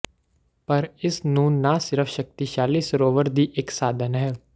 ਪਰ ਇਸ ਨੂੰ ਨਾ ਸਿਰਫ ਸ਼ਕਤੀਸ਼ਾਲੀ ਸਰੋਵਰ ਦੀ ਇੱਕ ਸਾਧਨ ਹੈ